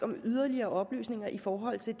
om yderligere oplysninger i forhold til